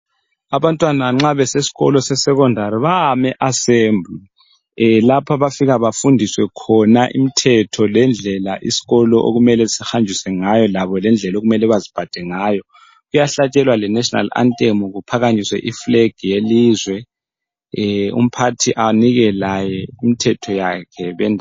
Abantwana nxa besesikolo sesecondary bayama eAssembly lapho abafika befundiswe khona imithetho lendlela isikolo sihanjiswe ngaso lendlela labo okumele baziphathe ngayo. Kuyahlatshelwa lengoma yesizwe (national anthem) ukuphakamiswe ifulegi yelizwe umphathi anike laye imithetho yakhe.